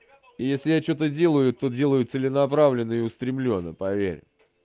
если я что-то делаю то делаю целенаправленно и устремленно поверь